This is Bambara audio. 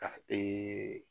Ka ee